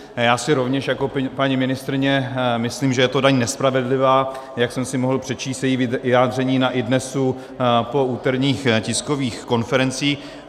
Já si rovněž jako paní ministryně myslím, že je to daň nespravedlivá, jak jsem si mohl přečíst její vyjádření na iDNES po úterních tiskových konferencích.